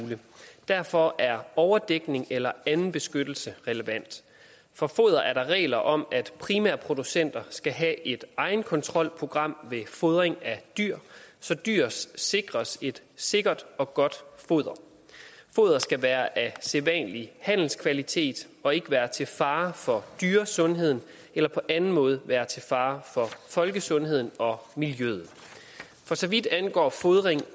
derfor er overdækning eller anden beskyttelse relevant for foder er der regler om at primærproducenter skal have et egenkontrolprogram ved fodring af dyr så dyr sikres et sikkert og godt foder foder skal være af sædvanlig handelskvalitet og ikke være til fare for dyresundheden eller på anden måde være til fare for folkesundheden og miljøet for så vidt angår fodring